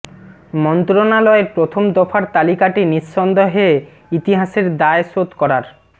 মন্ত্রণালয়ের প্রথম দফার তালিকাটি নিঃসন্দেহে ইতিহাসের দায় শোধ করার